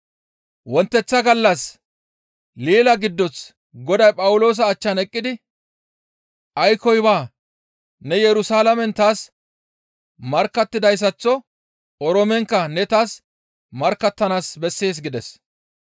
Wonteththa gallas leela giddoth Goday Phawuloosa achchan eqqidi, «Aykkoy baa; ne Yerusalaamen taas markkattidayssaththo Oroomenkka ne taas markkattanaas bessees» gides.